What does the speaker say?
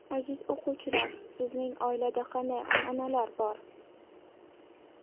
Aziz o‘quvchilar, sizning oilada qanday an’analar bor?